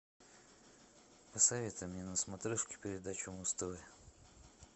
посоветуй мне на смотрешке передачу муз тв